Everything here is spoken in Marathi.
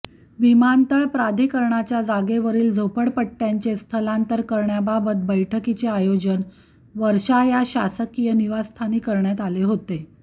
विमानतळ प्राधिकरणाच्या जागेवरील झोपडपट्ट्यांचे स्थलांतर करण्याबाबत बैठकीचे आयोजन वर्षा या शासकीय निवासस्थानी करण्यात आले होते